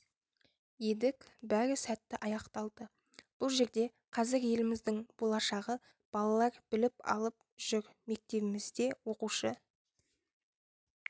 едік бәрі сәтті аяқталды бұл жерде қазір еліміздің болашағы балалар біліп алып жүр мектебімізде оқушы